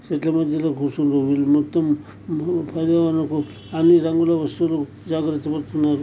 చెట్ల మధ్యలో కూర్చున్నారు వీళ్ళు మొత్తం పర్యావరణకు అన్నిరంగుల వస్తువులు జాగ్రత్త పడుతున్నారు.